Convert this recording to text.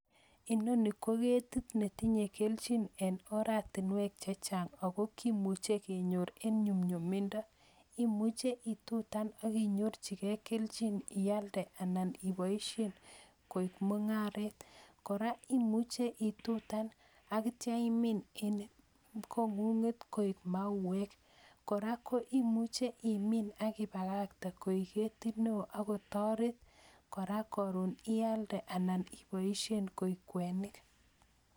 Inoni ko ketit netinyei keljin eng oratinwek che chany ako kimuchi kenyor eng yumyumindo. Imuche ituitan ak inyorjigei keljin ialde anan iboisien koek mungaret, Kora imuchi itutan ak itya imin eng kongunget koek mauek, Kora ko imuchi imin ak ibakakten koek ketit neo ak kotoret kora karon ialde anan iboishen koek kwenik.